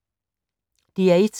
DR1